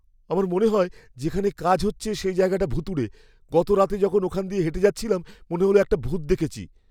আমার মনে হয়, যেখানে কাজ হচ্ছে সে জায়গাটা ভুতুড়ে। গত রাতে যখন ওখান দিয়ে হেঁটে যাচ্ছিলাম, মনে হল একটা ভূত দেখেছি।